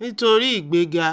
nítorí ìgbéga?